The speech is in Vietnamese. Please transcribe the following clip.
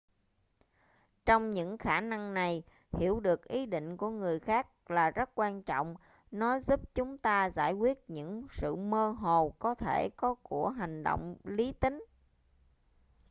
trong những khả năng này hiểu được ý định của người khác là rất quan trọng nó giúp chúng ta giải quyết những sự mơ hồ có thể có của hành động lý tính